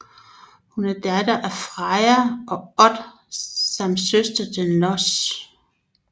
Hun er datter af Freja og Od samt søster til Hnoss